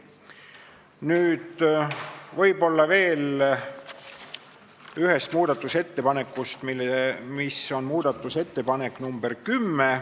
Nüüd veel ühest muudatusettepanekust, see on muudatusettepanek nr 10.